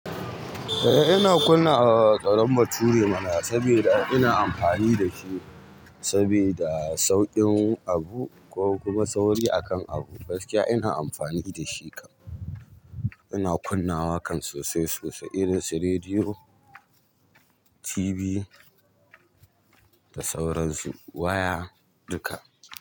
Eh ina kunna awarar ƙaran bature mana saboda ina amfani da shi saboda sauƙin abu ko kuma sauri akan abu. Faske ina amfani da shi kam. Ina kunnawa kan sosai sosai irin su rediyo, TV, da sauran su. Waya duka.